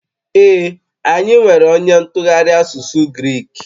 Ee, anyị nwere onye ntụgharị asụsụ Grik